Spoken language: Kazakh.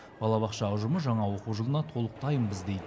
балабақша ұжымы жаңа оқу жылына толық дайынбыз дейді